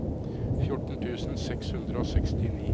fjorten tusen seks hundre og sekstini